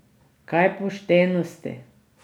Kaj poštenosti?